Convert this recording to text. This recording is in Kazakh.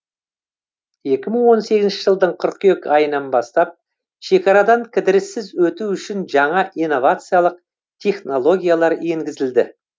екі мың он сегізінші жылдың қыркүйек айынан бастап шекарадан кідіріссіз өту үшін жаңа инновациялық технологиялар енгізілді